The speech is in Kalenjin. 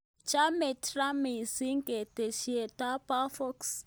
Chame Trump missing ketesyento bo Fox